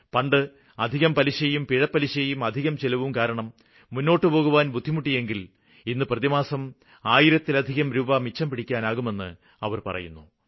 പണ്ട് അധികം പലിശയും പിഴപലിശയും അധികം ചിലവും കാരണം മുന്നോട്ടുപോകുവാന് ബുദ്ധിമുട്ടിയെങ്കില് ഇന്ന് പ്രതിമാസം ആയിരത്തിലധികം രൂപ മിച്ചംപിടിക്കാനാകുമെന്നാണ് അവര് പറയുന്നത്